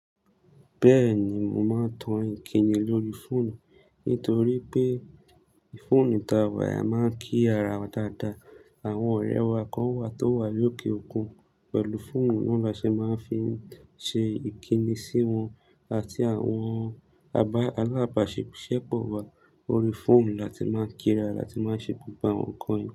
Bẹ́ẹ̀ni, mo máa ń tan ìkíni lórí fóònù. Nítorí pé fóònù tàwà, a máa ń kí ara wa dáadáa. Àwọn ọ̀rẹ́ wa kan wà tó wà lókè òkun, pẹ̀lú fóònù náà la ṣe máa ń fi ṣe ìkíni sí wọn àti àwọn alábàáṣe iṣẹ pọ̀ wa. Órí fóònù la ti máa ń kíra láti máa ṣe gbogbo àwọn nǹkan yìí.